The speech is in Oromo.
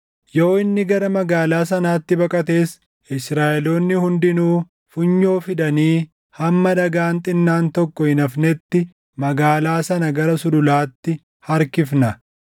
Yoo inni gara magaalaa sanaatti baqates, Israaʼeloonni hundinuu funyoo fidanii hamma dhagaan xinnaan tokko hin hafnetti magaalaa sana gara sululaatti harkifna.”